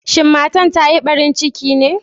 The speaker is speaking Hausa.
Shin matan ta Yi barin ciki ne?